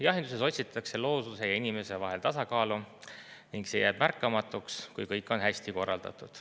Jahinduses otsitakse looduse ja inimese vahel tasakaalu ning see jääb märkamatuks, kui kõik on hästi korraldatud.